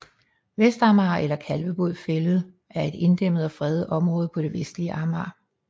Vestamager eller Kalvebod Fælled er et inddæmmet og fredet område på det vestlige Amager